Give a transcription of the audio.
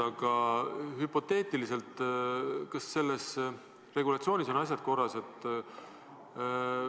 Aga hüpoteetiliselt, kas selle regulatsiooniga on asjad korras?